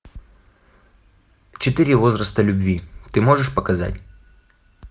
четыре возраста любви ты можешь показать